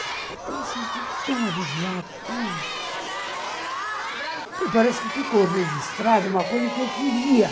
E estou me sentindo tão aliviado, tão... parece que ficou registrada uma coisa que eu queria.